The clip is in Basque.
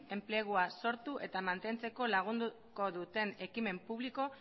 enplegua sortu eta mantentzen lagunduko duten ekimen publiko